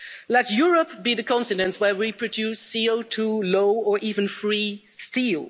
Let Europe be the continent where we produce CO2 low or even free steel.